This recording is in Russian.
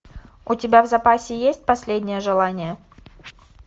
у тебя в запасе есть последнее желание